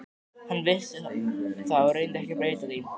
Hann vissi það og reyndi ekki að breyta því.